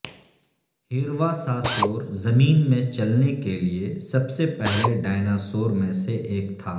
ہیرواساسور زمین میں چلنے کے لئے سب سے پہلے ڈایناسور میں سے ایک تھا